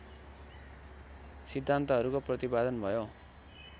सिद्धान्तहरूको प्रतिपादन भयो